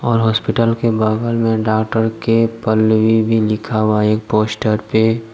और हॉस्पिटल के बाहर में डॉक्टर के पल्लवी भी लिखा हुआ है एक पोस्टर पे।